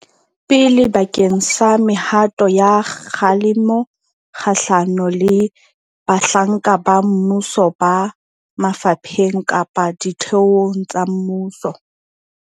pele bakeng sa mehato ya kgalemo kgahlano le bahlanka ba mmuso ba mafapheng kapa ditheong tsa mmuso.